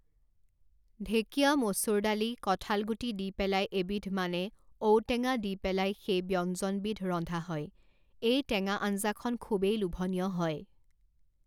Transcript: ঢেকীয়া, মচুৰ দালি কঠাল গুটি দি পেলাই এবিধ মানে ঔটেঙা দি পেলাই সেই ব্যঞ্জনবিধ ৰন্ধা হয় এই টেঙা আঞ্জাখন খুবেই লোভনীয় হয়